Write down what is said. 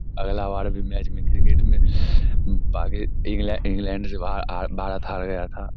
अगला बार भी मैच में क्रिकेट में इंग्लैंड इंग्लैंड से भारत हार गया था ।